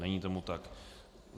Není tomu tak.